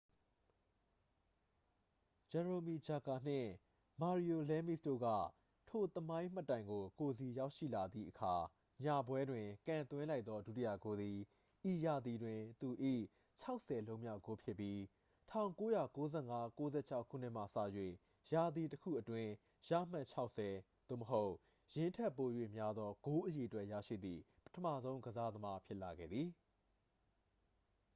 ဂျရိုမီ ဂျဂါ နှင့် မာရီယို လဲမီစ်တို့က ထိုသမိုင်းမှတ်တိုင်ကို ကိုယ်စီရောက်ရှိလာသည့်အခါ ညပွဲတွင် ကန်သွင်းလိုက်သော ဒုတိယဂိုးသည် ဤရာသီတွင် သူ၏ 60 လုံးမြောက် ဂိုးဖြစ်ပြီး 1995 - 96 ခုနှစ်မှစ၍ ရာသီတစ်ခုအတွင်း ရမှတ် 60 သို့မဟုတ် ယင်းထက်ပို၍ များသော ဂိုးအရေအတွက် ရရှိသည့် ပထမဆုံး ကစားသမား ဖြစ်လာခဲ့သည်